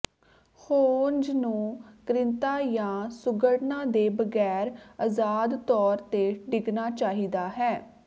hose ਨੂੰ ਕ੍ਰਿਤਾਂ ਜਾਂ ਸੁੰਘੜਨਾ ਦੇ ਬਗੈਰ ਅਜ਼ਾਦ ਤੌਰ ਤੇ ਡਿੱਗਣਾ ਚਾਹੀਦਾ ਹੈ